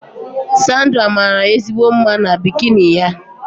Sandra maara ezigbo mma na bikini ya